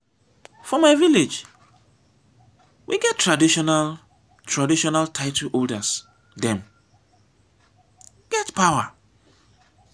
for my village we get traditional traditional title holders dem get power.